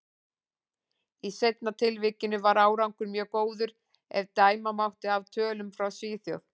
Í seinna tilvikinu var árangur mjög góður, ef dæma mátti af tölum frá Svíþjóð.